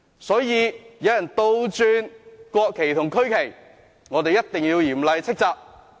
所以，有人倒插國旗和區旗，我們一定要嚴厲斥責。